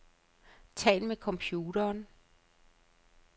Tal med computeren.